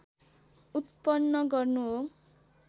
उत्पन्न गर्नु हो